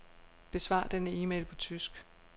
Besvar denne e-mail på tysk.